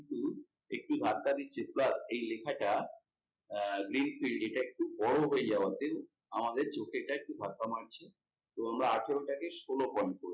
কিন্তু এটি ধাক্কা দিচ্ছে plus এই লেখাটা এইটা একটু ওর হয়ে যাওয়াতে আমাদের চোখে এটা একটু ধাক্কা মারছে তো আমরা আঠেরোটাকে ষোলো point করবো